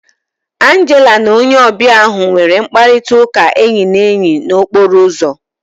Angela na onye ọbịa ahu nwere mkparịta ụka enyi na enyi na okporo ụzọ